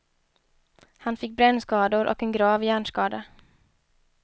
Han fick brännskador och en grav hjärnskada.